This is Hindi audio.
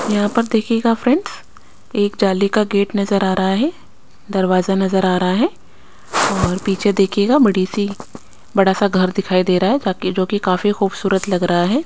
यहाँ पर देखियेगा फ्रेंड्स एक जाली का गेट नज़र आ रहा है दरवाज़ा नज़र आ रहा है और पीछे देखियेगा बड़ी सी बड़ा सा घर दिखाई दे रहा है काफी जो कि काफी खुबसुतर लग रा है।